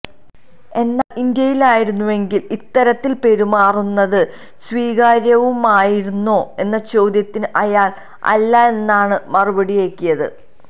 എന്നാൽ ഇന്ത്യയിലായിരുന്നെങ്കിൽ ഇത്തരത്തിൽ പെരുമാറുന്നത് സ്വീകാര്യമാവുമായിരുന്നോ എന്ന ചോദ്യത്തിന് അയാൾ അല്ലെന്നാണ് മറുപടിയേകിയത്